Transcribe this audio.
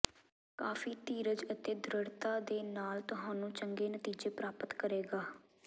ਕਾਫ਼ੀ ਧੀਰਜ ਅਤੇ ਦ੍ਰਿੜ੍ਹਤਾ ਦੇ ਨਾਲ ਤੁਹਾਨੂੰ ਚੰਗੇ ਨਤੀਜੇ ਪ੍ਰਾਪਤ ਕਰੇਗਾ